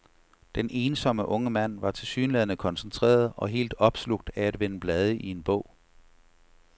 Den ensomme unge mand var tilsyneladende koncentreret og helt opslugt af at vende blade i en bog.